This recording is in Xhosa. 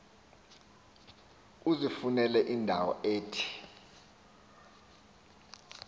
uzifunele indawo ethe